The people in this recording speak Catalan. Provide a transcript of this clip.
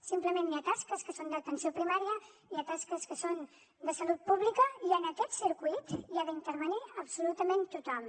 simplement hi ha tasques que són d’atenció primària hi ha tasques que són de salut pública i en aquest circuit hi ha d’intervenir absolutament tothom